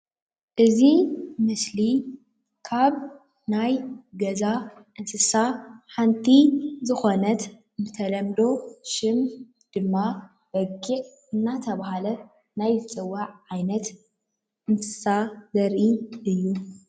እዚ ምስሊ ካብ ናይ ገዛ እንስሳ ሓንቲ ዝኾነት ብተለምዶ ሽም ድማ በጊዕ እንናተባሃለት ናይ እትፅዋዕ ዓይነት እንስሳ ዘርኢ እዩ፡፡